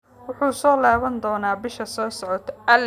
Wuxuu soo laaban doonaa bisha soo socota